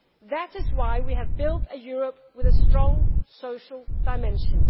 That is why we have built a Europe with a strong social dimension.